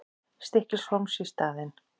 Stykkishólms í staðinn.